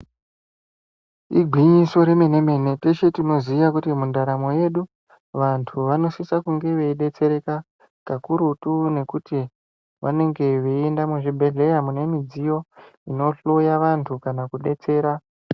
Igwinyiso remene mene teshe tinoziva kuti mundaramo yedu vantu vanosisa kudetsereka kakurutu ngekuti vanenge veienda muzvibhedhlera mune midziyo inohloya vantu kanakudetsera.